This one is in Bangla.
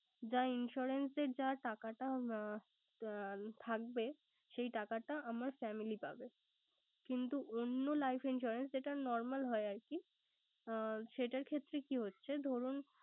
যা insurance এর যা টাকাটা থাকবে, সেই টাকাটা আমার family পাবে। কিন্তু অন্য life insurance যেটা normal হয় আরকি। সেটার ক্ষেত্রে কি হচ্ছে ধরুন